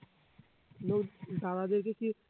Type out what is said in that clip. লোক দাদাদেরকে কি